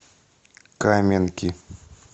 каменки